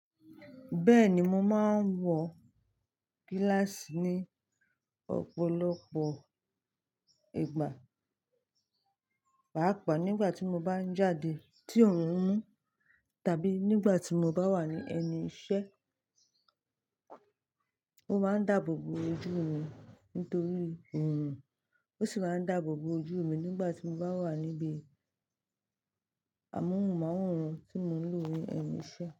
Bẹ́ẹ̀ni, mo máa ń wọ gíláàsì ní ọ̀pọ̀lọpọ̀ ìgbà, pàápàá nígbà tí mo bá ń jáde tí òórùn ń mú tàbí nígbà tí mo bá wà ní ẹnu iṣẹ́. Ó máa ń dáàbò bo ojú mi nítorí òórùn, ó sì máa ń dáàbò bo ojú mi nígbà tí mo bá wà níbi àmúhunmaworan tí mo ń lò ní ẹnu iṣẹ́.